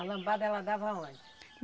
A lambada ela dava aonde?